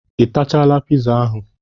Ị tachala piza ahụ?